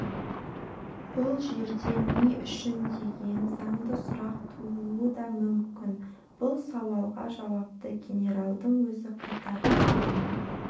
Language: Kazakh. бұл жерде не үшін деген заңды сұрақ тууы да мүмкін бұл сауалға жауапты генералдың өзі қайтарды